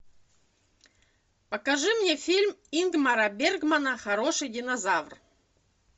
покажи мне фильм ингмара бергмана хороший динозавр